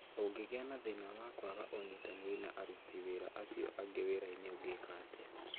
ũngĩgĩa na thĩna wa kwaga ĩnyitanĩri na aruti wira acio angi wiraini ũngĩka atĩa?